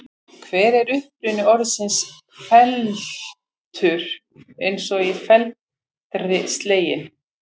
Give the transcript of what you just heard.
Hver er uppruni orðsins felmtur eins og í felmtri sleginn?